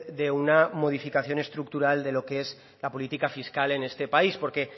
de una modificación estructural de lo que es la política fiscal en este país porque